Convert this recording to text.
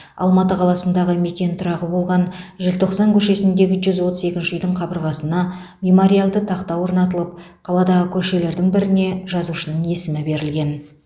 алматы қаласындағы мекен тұрағы болған желтоқсан көшесіндегі жүз отыз екі үйдің қабырғасына мемориалды тақта орнатылып қаладағы көшелердің біріне жазушының есімі берілген